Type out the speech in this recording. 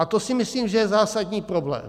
A to si myslím, že je zásadní problém.